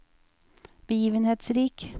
begivenhetsrik